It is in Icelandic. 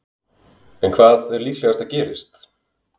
En hvað er líklegast að gerist?